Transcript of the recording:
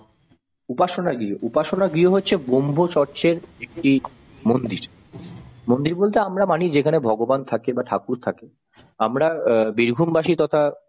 উপাসনা গৃহ উপাসনা গৃহ হচ্ছে ব্রহ্মচর্যের একটি মন্দির। মন্দির বলতে আমরা মানি যেখানে ভগবান থাকে বা ঠাকুর থাকে আমরা অ্যাঁ বীরভূম বাসি তথা